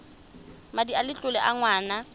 madi a letlole a ngwana